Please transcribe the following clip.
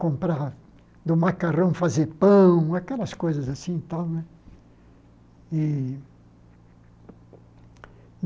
comprar do macarrão fazer pão, aquelas coisas assim e tal né e.